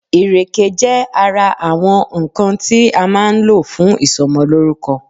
Ìrèké jé ara àwọn nkan tí a máa ń lò fún ìsomolórúko